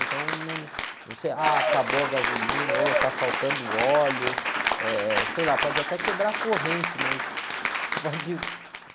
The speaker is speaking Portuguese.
Então, você, ah, acabou a gasolina, ou está faltando óleo, eh, sei lá, pode até quebrar a corrente, mas você pode